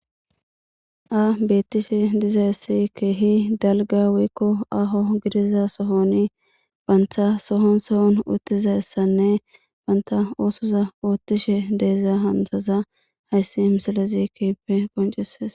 A beettishe diza essi keehi dalga wiikko aho gidiza sohoni banta sohon sohon uttiza essanne banta oosoza oottishe deeza hantaza hayssi misale zikippe qonceses.